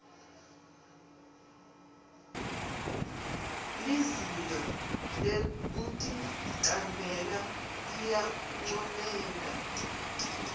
lizinga lekuticambela liyancomeka